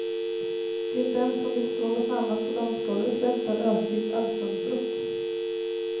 Till dem som vill stråla samman på dansgolvet väntar ösig allsångsrock.